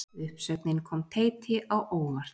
Uppsögnin kom Teiti á óvart